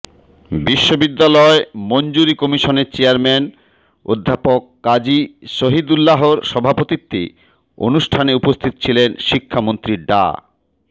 বিশ্ববিদ্যালয় মঞ্জুরি কমিশনের চেয়ারম্যান অধ্যাপক কাজী শহীদুল্লাহর সভাপতিত্বে অনুষ্ঠানে উপস্থিত ছিলেন শিক্ষামন্ত্রী ডা